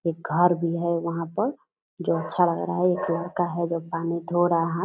एक घर भी है यहां पर जो अच्छा लग रहा है एक लड़का है जो पानी धो रहा हाथ --